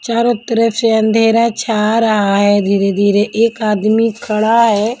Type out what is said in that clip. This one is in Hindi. चारों तरफ से अंधेरा छा रहा है धीरे-धीरे एक आदमी खड़ा है.